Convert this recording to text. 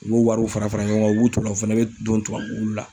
U b'u wariw fara fara ɲɔgɔn kan u b'u to la u fana bɛ don tubabuwulu la.